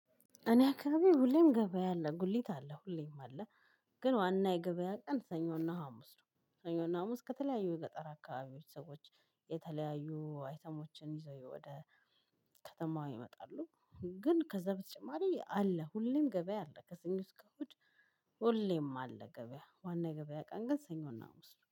እኔ አካባቢ ሁሌም ገበያ አለ ጉሊት አለ። ሁሌም አለ ግን ዋና የገበያ ቀን ሰኞና ሀሙስ ነው ሰኞ እና ሀሙስ ከተለያዩ የገጠር አካባቢዎች ሰዎች የተለያዩ አይነት ሰዎች ይዘው ወደ ከተማው ይመጣሉ ግን ከዛ በተጨማሪ አለ ሁሌም ገበያ አለ። ከሰኞ እስከ እሁድ ሁሌም አለ ገበያ ዋና ገበያ ቀን ሰኞና ሀሙስ ነው።